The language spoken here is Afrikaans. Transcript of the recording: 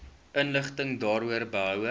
inligting daaroor behoue